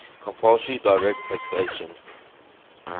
compulsory direct taxation